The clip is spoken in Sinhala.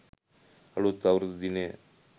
අලුත් අවුරුදු දිනය